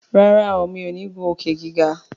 ràrá o mi'o ní ngun Òkè-gíga.